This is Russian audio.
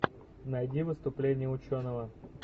найди выступление ученого